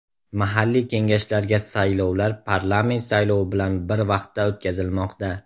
Mahalliy kengashlarga saylovlar parlament saylovi bilan bir vaqtda o‘tkazilmoqda.